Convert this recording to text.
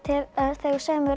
þegar þú semur